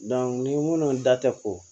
ni minnu da tɛ koo